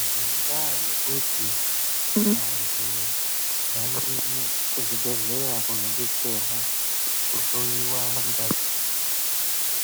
Ngendaa yekuti vantu vanoenda kuzvibhehlera kunodetserawa kuhloiwa ngazi